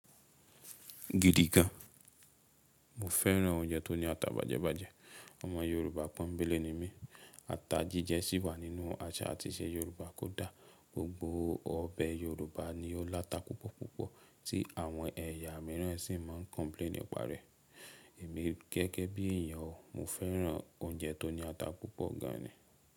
Gidi gan. Mo fẹ́ràn oúnjẹ tó ní ata bàjẹ́bàjẹ́. Ọmọ Yorùbá pọ́ńbélé ni mí. Ata jíjẹ sì wà nínú àṣà àti ìṣe Yorùbá kódà. Gbogbo ọbẹ̀ Yorùbá ni ó láta púpọ̀púpọ̀ tí àwọn ẹ̀yà mìíràn sì máa ń complain nìparẹ. Èmi gẹ́gẹ́ bí èèyàn o, mo fẹ́ràn oúnjẹ tó ní ata púpọ̀ gan ni.